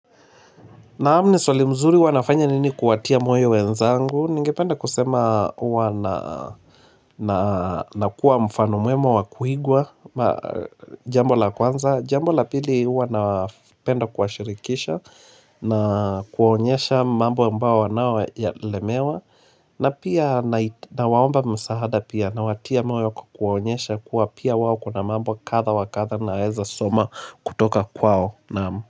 Naam ni swali mzuri huwa nafanya nini kuwatia moyo wenzangu, ningependa kusema huwa nakuwa mfano mwema wakuigwa jambo la kwanza, jambo la pili huwa napenda kuashirikisha na kuwaonyesha mambo ambao wanaolemewa na pia nawaomba msaada pia nawatia moyo kwa kuwaonyesha kuwa pia wao kuna mambo kadha wa kadha naeza soma kutoka kwao naam.